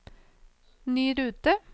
ny rute